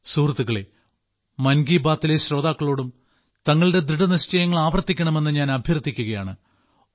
സുഹൃത്തുക്കളേ മൻ കി ബാത്തിലെ ശ്രോതാക്കളോടും തങ്ങളുടെ ദൃഢനിശ്ചയങ്ങൾ ആവർത്തിക്കണമെന്ന് ഞാൻ അഭ്യർത്ഥിക്കുകയാണ്